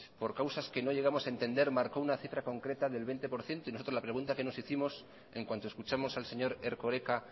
por causas que no llegamos a entender marcó una cifra concreta del veinte por ciento y nosotros la pregunta que nos hicimos en cuanto escuchamos al señor erkoreka